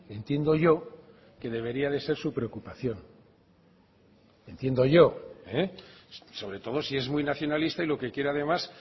entiendo yo que debería de ser su preocupación entiendo yo sobre todo si es muy nacionalista y lo que quiere además